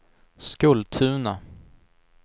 Skultuna